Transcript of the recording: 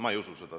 Ma ei usu seda.